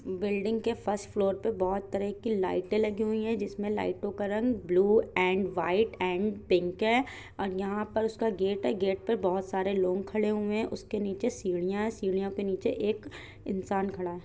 Building के first floor पे बोहोत तरह की लाइटें लगी हुई हैं। जिसमे लाइटों का रंग blue and white and pink है और यहाँ पर उसका गेट है। गेट पर बोहोत सारे लोग खड़े हुए हैं उसके निचे सीढ़ियाँ हैं सीढ़ियों के निचे एक इंसान खड़ा है।